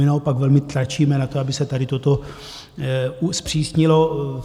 My naopak velmi tlačíme na to, aby se tady toto zpřísnilo.